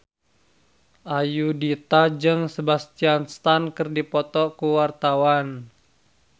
Ayudhita jeung Sebastian Stan keur dipoto ku wartawan